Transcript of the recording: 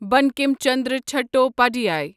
Bankim Chandra Chattopadhyay